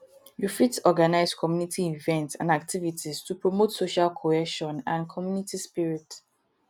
you fit organize community events and activities to promote social cohesion and community spirit